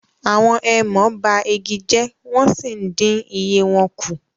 àwọn èèmọ ba igi jẹ wọn sìí ǹdin iye wọn ku